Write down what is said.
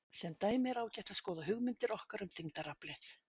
Sem dæmi er ágætt að skoða hugmyndir okkar um þyngdaraflið.